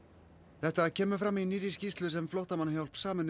þetta kemur fram í nýrri skýrslu sem Flóttamannahjálp Sameinuðu